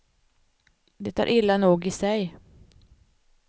Det är illa nog i sig.